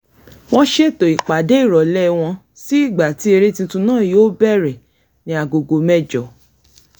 wọ́n ṣètò ipàdé ìròlé wọn sí ìgbà tí eré titun náà yóò bẹ̀rẹ ní agogo mẹ́jọ